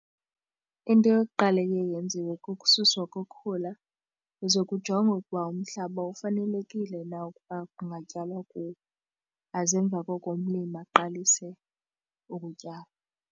Into yokuqala eye yenziwe kukususwa kokhula kuze kujongwe ukuba umhlaba ufanelekile na ukuba kungatyalwa kuwo, aze emva koko umlimi aqalise ukutyala.